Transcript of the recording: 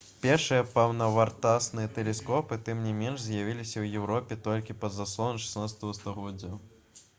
пешыя паўнавартасныя тэлескопы тым не менш з'явіліся ў еўропе толькі пад заслону 16-га стагоддзя